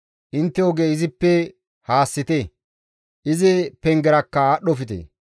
Intte oge izippe haassite; izi pengerakka aadhdhofte.